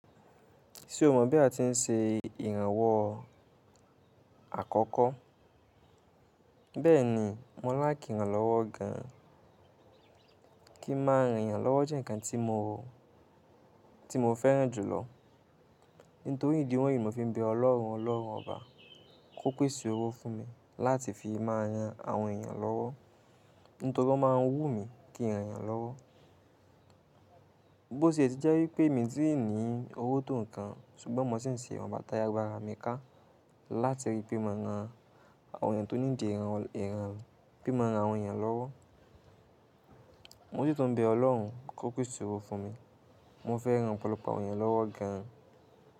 Ṣé o mọ bí a ti ń ṣe ìrànwọ́ àkọ́kọ́? Bẹ́ẹ̀ni, mo ń láki iran lọ́wọ́ gan. Kí n ma ran èyàn lọ́wọ́ jẹ́ nǹkan tí mo, tí mo fẹ́ràn jùlọ. Nítorí ìdí wọ̀nyí mo fi ń bẹ ọlọ́run ọlọ́run ọba kó pèsè owó fún mi láti fi máa ran àwọn èèyàn lọ́wọ́. Nítorí o máa ń wú mi kí rànèyàn lọ́wọ́. Bo ṣe eti jẹ́ wípé mi ti ní owó tọ̀ nǹkan ṣùgbọ́n mo sì ń ṣe ìwọn bà ti ágbara mi ká láti rí pé mo ma ran àwọn èèyàn tó nídìí ìran, ìran pé mo ma ran àwọn èèyàn lọ́wọ́. Mo sì tún ń bẹ ọlọ́run kó pèsè owó fún mi. Mo fẹ́ ran ọ̀pọ̀lọpọ̀ àwọn èèyàn lọ́wọ́ gan.